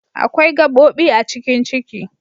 Akwai gabobi a cikin Ciki.